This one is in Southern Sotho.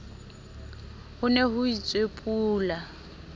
ho ne ho itswe pula